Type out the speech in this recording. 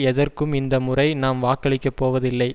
எதற்கும் இந்தமுறை நாம் வாக்களிக்க போவதில்லை